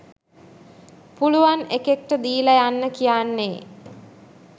පුළුවන් එකෙක්ට දීල යන්න කියන්නේ.